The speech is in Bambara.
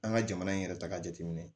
An ka jamana in yɛrɛ ta ka jateminɛ